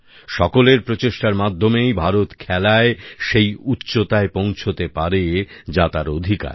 সকলের প্রচেষ্টার মাধ্যমেই ভারত খেলায় সেই উচ্চতায় পৌঁছতে পারে যা তার অধিকার